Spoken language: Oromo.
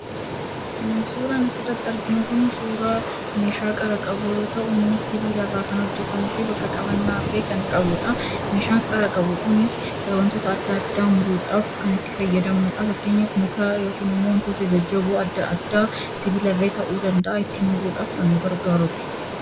Suuraan asirratti argiu kun suuraa meeshaa qara qabu yemmuu ta'u, innis sibiila irraa kan hojjetamuufi bakka qabannaa illee kan qabudha. Meeshaan qara qabu kunis meeshaa adda addaa itti muruudhaaf kan itti fayyadamnudha. Fakkeenyaaf mukaa yookan wantoota jajjaboo adda addaa sibila illee ta'uu danda'a ittiin muruudhaaf kan nu gargaarudha.